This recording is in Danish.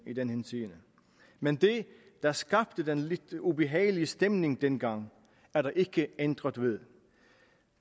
i den henseende men det der skabte den lidt ubehagelige stemning dengang er der ikke ændret ved